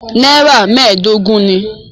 Nàírà mẹ́ẹ̀dógún ni.